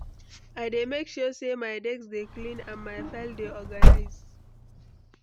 I dey make sure say my desk dey clean and my files dey organized.